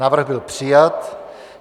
Návrh byl přijat.